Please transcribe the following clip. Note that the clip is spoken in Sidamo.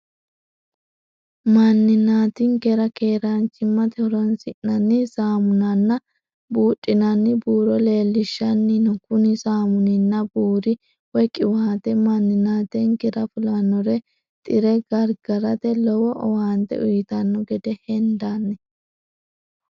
Maninati'nkera keeranchimate horonsinanni saamunana buudhinanni buuro leellishanni no, kuni samunninna buuri( qiwaate) maninatinkera fulanori xire garigarate lowo owaante uuyitanno gede hendanni